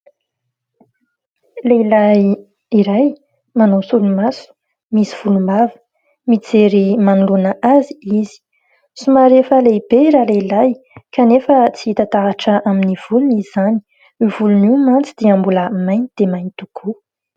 Lehilahy iray manao solomaso, misy volombava. Mijery manoloana azy izy. Somary efa lehibe i Ralehilahy kanefa tsy hita taratra amin'ny volony izany. Io volony io mantsy dia mbola mainty dia mainty tokoa.